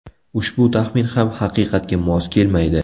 Ushbu taxmin ham haqiqatga mos kelmaydi.